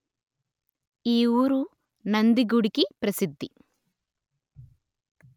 యీ ఊరు నంది గుడికి ప్రసిద్ది